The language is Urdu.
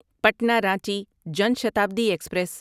پٹنا رانچی جان شتابدی ایکسپریس